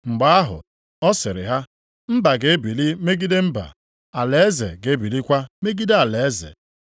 Mgbe ahụ, ọ sịrị ha, “Mba ga-ebili megide mba, alaeze ga-ebilikwa megide alaeze.